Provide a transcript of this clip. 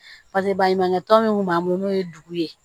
Paseke baɲumankɛ tɔn min kun b'an bolo n'o ye dugu ye